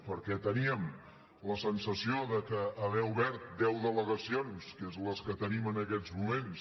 perquè teníem la sensació que haver obert deu delegacions que són les que tenim en aquests moments